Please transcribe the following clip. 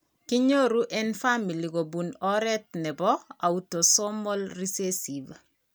Kinyoru en famili kobun oret nebo autosomal recessive